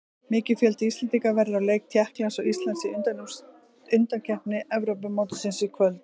Mikill fjöldi Íslendinga verður á leik Tékklands og Íslands í undankeppni Evrópumótsins í kvöld.